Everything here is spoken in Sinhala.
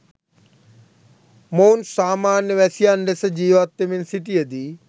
මොවුන් සාමාන්‍ය වැසියන් ලෙස ජීවත් වෙමින් සිටියදී